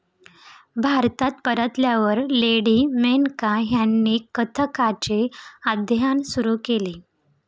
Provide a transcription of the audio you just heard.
भारतात परतल्यावर लेडी मेनका ह्यांनी कथ्थकचे अध्ययन सुरु केले.